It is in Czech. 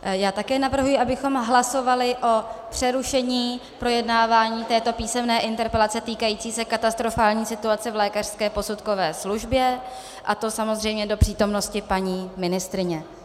Já také navrhuji, abychom hlasovali o přerušení projednávání této písemné interpelace, týkající se katastrofální situace v lékařské posudkové službě, a to samozřejmě do přítomnosti paní ministryně.